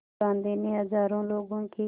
गांधी ने हज़ारों लोगों की